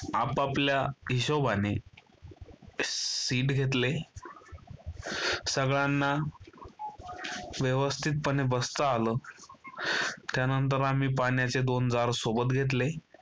आपआपल्या हिशोबाने seat घेतले सगळ्यांना व्यवस्थितपणे बसता आलं. त्यानंतर आम्ही पाण्याचे दोन jar सोबत घेतले.